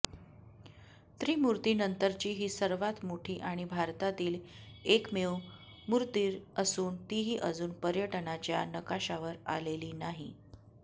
त्रिमूतीर्नंतरची ही सर्वात मोठी आणि भारतातील एकमेव मूतीर् असून तीही अजून पर्यटनाच्या नकाशावर आलेली नाही